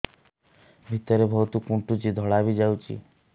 ଭିତରେ ବହୁତ କୁଣ୍ଡୁଚି ଧଳା ବି ଯାଉଛି